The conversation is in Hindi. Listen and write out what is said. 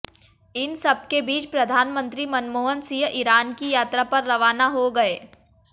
इन सबके बीच प्रधानमंत्री मनमोहन सिंह ईरान की यात्रा पर रवाना हो गए